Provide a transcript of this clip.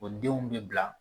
O denw bi bila